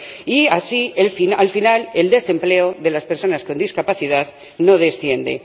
Y así, al final, el desempleo de las personas con discapacidad no desciende.